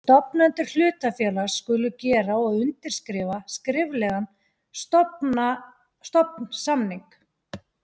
Stofnendur hlutafélags skulu gera og undirskrifa skriflegan stofnsamning.